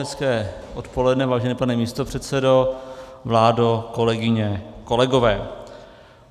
Hezké odpoledne, vážený pane místopředsedo, vládo, kolegyně, kolegové.